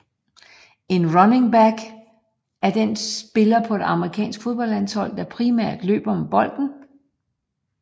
En runningback er den spiller på et amerikansk fodboldhold der primært løber med bolden